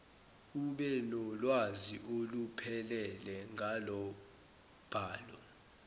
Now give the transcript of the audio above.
ubenolwazi oluphelele ngalombhalo